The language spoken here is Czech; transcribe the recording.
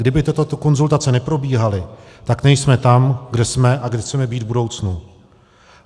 Kdyby tyto konzultace neprobíhaly, tak nejsme tam, kde jsme a kde chceme být v budoucnu.